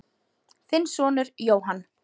Þinn sonur, Jóhann.